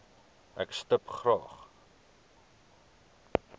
ek stip graag